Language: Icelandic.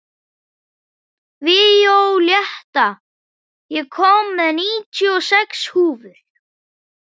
Víóletta, ég kom með níutíu og sex húfur!